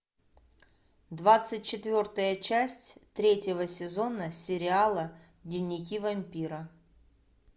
двадцать четвертая часть третьего сезона сериала дневники вампира